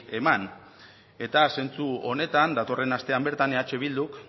eman eta zentzu honetan datorren astean bertan eh bilduk